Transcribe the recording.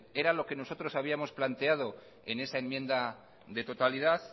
era lo que nosotros habíamos planteado en esa enmienda de totalidad